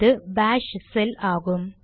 இது bash shell ஆகும்